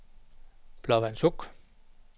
Blåvandshuk